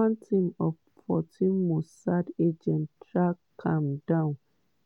one team of 14 mossad agents track am down